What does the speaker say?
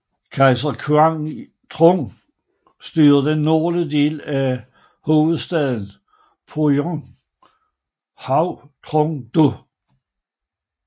Kejser Quang Trung styrede den nordlige del fra hovedstaden Phượng Hoàng Trung Đô